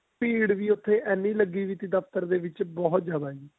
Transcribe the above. ਭੀੜ ਵੀ ਉੱਥੇ ਇੰਨੀ ਲੱਗੀ ਹੋਈ ਸੀ ਦਫਤਰ ਦੇ ਵਿੱਚ ਬਹੁਤ ਜਿਆਦਾ ਜੀ